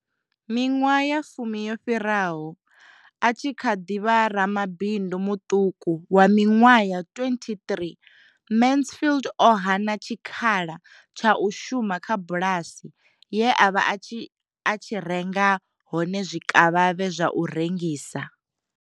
Miṅwaha ya fumi yo fhiraho a tshi kha ḓi vha ramabindu muṱuku wa miṅwaha ya 23 Mansfield o hana tshikhala tsha u shuma kha bulasi ye a vha a tshi renga hone zwikavhavhe zwa u rengisa.